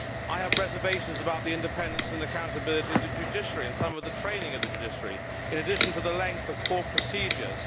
I have reservations about the independence and accountability of the judiciary and some of the training of the judiciary, in addition to the length of court procedures.